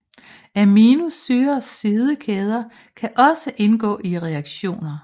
Aminosyrers sidekæder kan også indgå i reaktioner